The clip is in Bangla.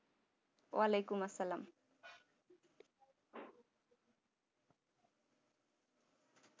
ওয়ালাইকুম আসসালাম